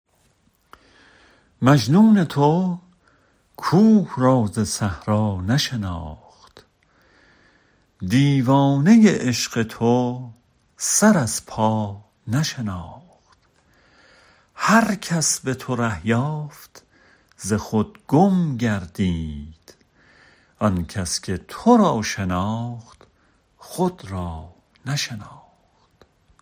مجنون تو کوه را ز صحرا نشناخت دیوانه عشق تو سر از پا نشناخت هر کس به تو ره یافت ز خود گم گردید آن کس که تو را شناخت خود را نشناخت